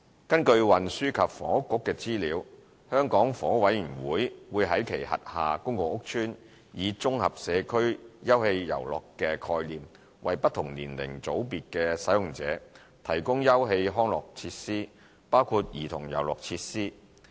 根據運輸及房屋局的資料，香港房屋委員會會在其轄下公共屋邨，以"綜合社區休憩遊樂"的概念，為不同年齡組別的使用者提供休憩康樂設施，包括兒童遊樂設施。